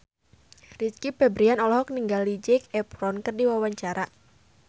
Rizky Febian olohok ningali Zac Efron keur diwawancara